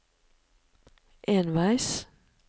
enveis